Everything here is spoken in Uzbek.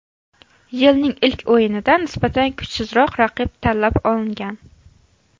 Yilning ilk o‘yinida nisbatan kuchsizroq raqib tanlab olingan.